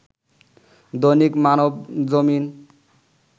Dainik Manabzamin